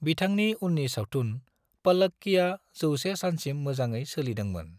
बिथांनि उननि सावथुन 'पल्लक्की'आ 100 सानसिम मोजांङै सोलिदोंमोन।